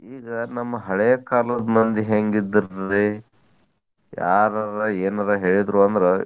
ಈಗ ನಮ್ಮ್ ಹಳೇ ಕಾಲದ್ದ್ ಮಂದಿ ಹೆಂಗಿದ್ರರ್ರಿ? ಯಾರಾರ್ ಎನರ್ ಹೇಳಿದ್ರು ಅಂದ್ರ್